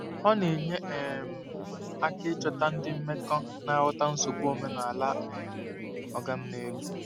Ọ na-enye um aka ịchọta ndị mmekọ na-aghọta nsogbu omenala um “oga m n'elu.”